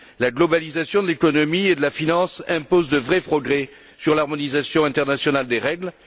La globalisation de l'économie et de la finance impose de vrais progrès au niveau de l'harmonisation internationale des règles.